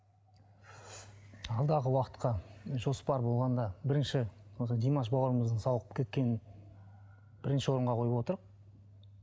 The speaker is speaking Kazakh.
алдағы уақытқа жоспар болғанда бірінші осы димаш бауырымыздың сауығып кеткенін бірінші орынға қойып отырмыз